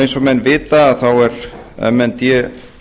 eins og menn vita er m n d